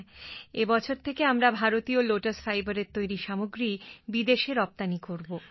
হ্যাঁ এ বছর থেকে আমরা ভারতীয় লোটাস fiberএর তৈরি সামগ্রী বিদেশে রপ্তানি করব